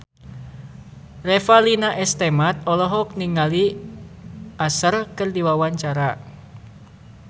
Revalina S. Temat olohok ningali Usher keur diwawancara